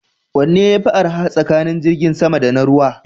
Wanne yafi arha tsakanin jirgin sama da na ruwa?